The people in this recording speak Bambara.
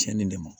Cɛnni de ma